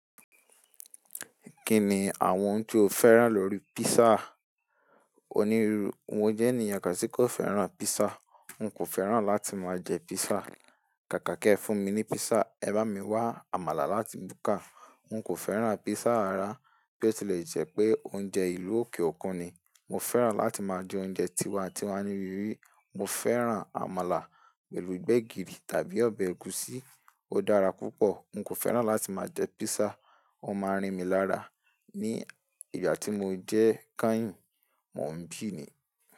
Kíni àwọn ohun tí o fẹ́ràn lórí písà? Onírúurú, mo jẹ́ ènìyàn ká tí kò fẹ́ràn písà. N kò fẹ́ràn láti máa jẹ písà. Kàkà kí ẹ fún mi ní písà, ẹ bá mi wá àmàlà láti búka. N kò fẹ́ràn písà rárá bí ó tilẹ̀ jẹ́ pé oúnjẹ ìlú òkè òkun ni. Mo fẹ́ràn láti máa jẹ oúnjẹ tiwa-n-tiwa ní ibí bií Mo fẹ́ràn àmàlà pẹ̀lú gbẹ̀gìrì tàbí ọbẹ̀ ẹ̀gúsí. Ó dára púpọ̀. N kò fẹ́ràn láti máa jẹ písà, ó máa rìn mí lára. Ni ìgbà tí mo jẹ́ káyìn mo ń bì ni.